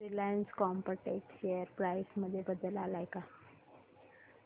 Reliance Chemotex share price मध्ये बदल आलाय का